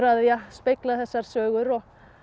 spegla þessar sögur og